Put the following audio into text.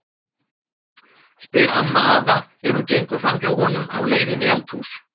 spyr amma afa er hún gengur fram hjá honum á leið inn í eldhús.